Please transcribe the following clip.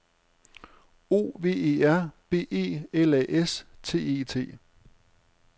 O V E R B E L A S T E T